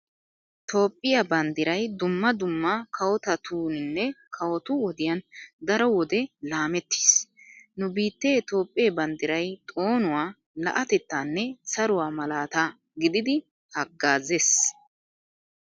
Toophphiyaa banddiray dumma dumma kawotatuuninne kawotu wodiyan daro wode laamettiis. Nu biittee Toophphee banddiray xoonuwaa, la'atettaanne saruwaa malaata gididi haggazzees.